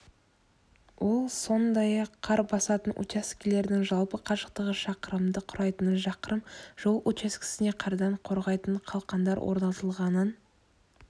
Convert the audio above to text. ол сондай-ақ қар басатын учаскелердің жалпы қашықтығы шақырымды құрайтынын шақырым жол учаскесіне қардан қорғайтын қалқандар орнатылғанын